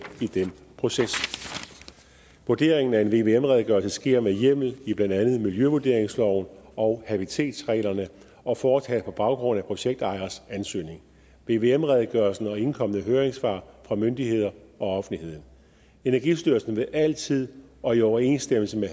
i den proces vurderingen af en vvm redegørelse sker med hjemmel i blandt andet miljøvurderingsloven og habitatreglerne og foretages på baggrund af projektejernes ansøgning vvm redegørelsen og indkomne høringssvar fra myndigheder og offentligheden energistyrelsen vil altid og i overensstemmelse med